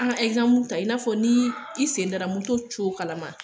An ta i n'a fɔ ni i sen dara moto kalama